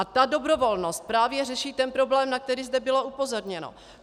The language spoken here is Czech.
A ta dobrovolnost právě řeší ten problém, na který zde bylo upozorněno.